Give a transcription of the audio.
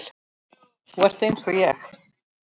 Þú ert einsog ég.